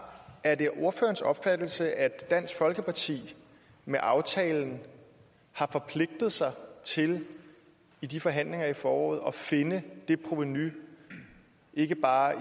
er det ordførerens opfattelse at dansk folkeparti med aftalen har forpligtet sig til i de forhandlinger der foråret at finde det provenu ikke bare i